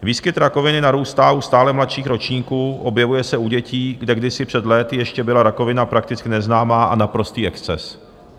Výskyt rakoviny narůstá u stále mladších ročníků, objevuje se u dětí, kde kdysi před lety ještě byla rakovina prakticky neznámá a naprostý exces.